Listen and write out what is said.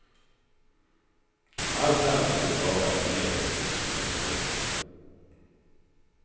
Allt annat skulle vara en negativ sensation.